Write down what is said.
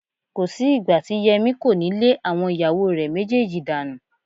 Kò sí ìgbà tí Yẹmí kò ní lé àwọn ìyàwó rẹ méjèèjì dànù